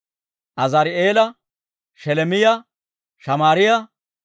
Azaari'eela, Sheleemiyaa, Shamaariyaa,